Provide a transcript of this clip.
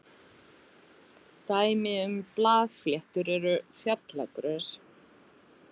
Dæmi um blaðfléttur eru fjallagrös.